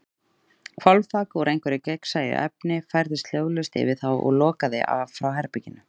Hvolfþak, úr einhverju gagnsæju efni, færðist hljóðlaust yfir þá og lokaði af frá herberginu.